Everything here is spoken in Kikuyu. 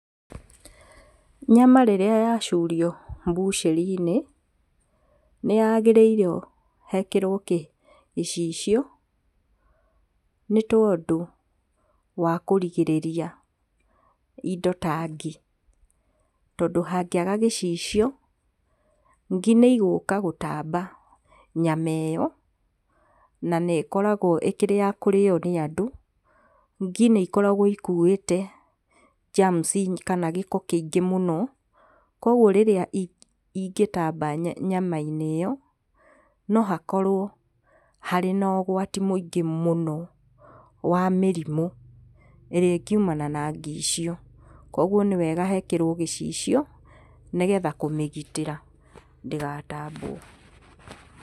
Nyama rĩrĩa yacurio bucĩrĩ-inĩ nĩhagĩrĩirwo hekĩrwo kĩ gĩcicio nĩ tondũ wa kũgirĩrĩria indo ta ngi, tondũ hangĩaga gĩcicio, ngi nĩigũka gũtamba nyama ĩyo, na nĩĩngĩkoragwo ĩkĩrĩ ya kũrĩo nĩ andũ. Ngi nĩikoragwo ikuwĩte germs kana gĩko kĩingĩ mũno kwoguo rĩrĩa ĩngĩtamba nya nyama-inĩ ĩyo, no hakorwo harĩ na ũgwati mũingĩ mũno wa mĩrimũ ĩrĩa ĩngiumana na ngi icio, kwoguo nĩ wega hekĩrwo gĩcicio nĩgetha kũmĩgitĩra ndĩgatambwo.